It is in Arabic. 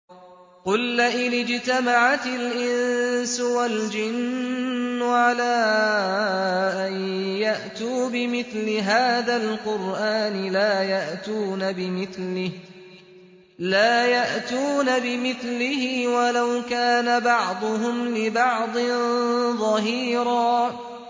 قُل لَّئِنِ اجْتَمَعَتِ الْإِنسُ وَالْجِنُّ عَلَىٰ أَن يَأْتُوا بِمِثْلِ هَٰذَا الْقُرْآنِ لَا يَأْتُونَ بِمِثْلِهِ وَلَوْ كَانَ بَعْضُهُمْ لِبَعْضٍ ظَهِيرًا